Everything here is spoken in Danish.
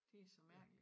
De så mærkelige